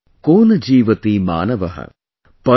Atmantharmjeevalokeasmin, ko na jeevtimanavah